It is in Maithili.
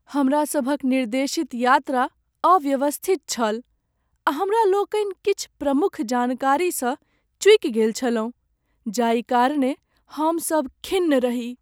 हमरा सभक निर्देशित यात्रा अव्यवस्थित छल आ हमरा लोकनि किछु प्रमुख जानकारीसँ चूकि गेल छलहुँ जाहि कारणेँ हमसभ खिन्न रही।